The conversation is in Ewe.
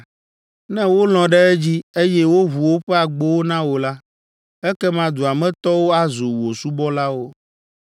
Ne wolɔ̃ ɖe edzi, eye woʋu woƒe agbowo na wò la, ekema dua me tɔwo azu wò subɔlawo.